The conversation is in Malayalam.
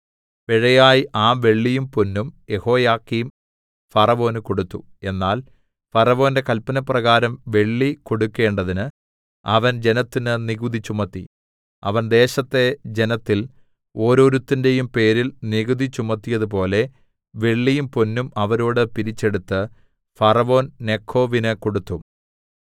പിഴയായി ആ വെള്ളിയും പൊന്നും യെഹോയാക്കീം ഫറവോന് കൊടുത്തു എന്നാൽ ഫറവോന്റെ കല്പനപ്രകാരം വെള്ളി കൊടുക്കണ്ടതിന് അവൻ ജനത്തിന് നികുതി ചുമത്തി അവൻ ദേശത്തെ ജനത്തിൽ ഓരോരുത്തന്റെയും പേരിൽ നികുതി ചുമത്തിയതുപോലെ വെള്ളിയും പൊന്നും അവരോട് പിരിച്ചെടുത്ത് ഫറവോൻനെഖോവിന് കൊടുത്തു